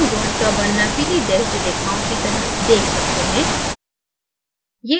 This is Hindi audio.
आप hydrogenबॉन्ड का बनना पीली dashed रेखाओं की तरह dashed सकते हैं